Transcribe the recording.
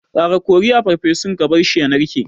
Ƙara kori a farfesun ka barshi ya narke.